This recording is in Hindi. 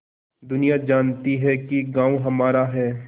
दुनिया जानती है कि गॉँव हमारा है